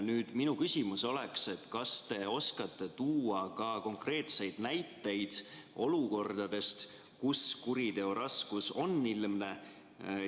Nüüd, minu küsimus on, et kas te oskate tuua ka konkreetseid näiteid olukordadest, kus kuriteo raskus on ilmne.